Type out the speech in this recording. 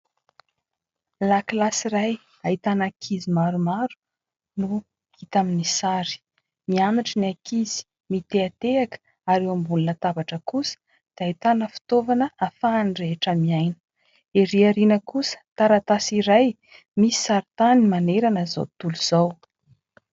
Lakilasy iray hahitana ankizy maromaro no hita amin'ny sary. Mianatra ny ankizy, mitehatehaka ary eo ambonina latabatra kosa dia itana fitovana hafahany rehetra miaina. Ery aoriana kosa ; taratasy iray misy saritany manerana izao tontolo izao